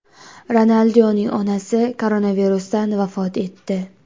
Ronaldinyoning onasi koronavirusdan vafot etdi.